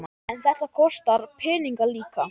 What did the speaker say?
En þetta kostar peninga líka?